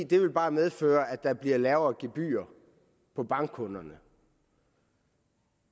det vil bare medføre at der bliver lavere gebyrer for bankkunderne